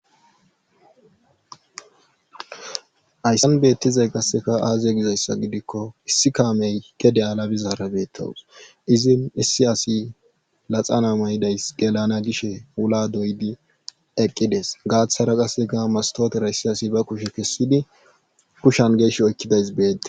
Hayssan beettizay qasseka aaziye gizayssa gidikko issi kaamey kede7alabizaara beettawus izin issi asi laxana maydays delana gishe wula doydi eqqides gaathara qaseka mastootera issi asi ba kushe kessidi kushan geesh oykkidays beede